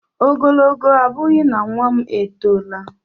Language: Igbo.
Ogologo abughi na nwa m e tọla.